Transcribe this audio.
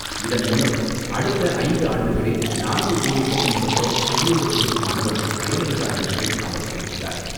இதன் மூலம் அடுத்த ஐந்து ஆண்டுகளில் நான்கு கோடிக்கும் மேற்பட்ட ஷெட்யூல்டு வகுப்பு மாணவர்கள் பயனடைவார்கள் என்றும் அவர் தெரிவித்தார்.